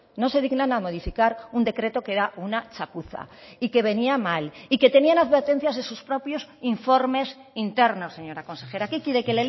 no se dignan a modificar un decreto que era una chapuza y que venía mal y que tenían advertencias de sus propios informes internos señora consejera qué quiere que